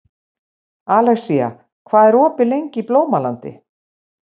Alexía, hvað er opið lengi í Blómalandi?